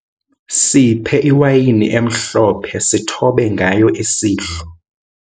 Siphe iwayini emhlophe sithobe ngayo isidlo.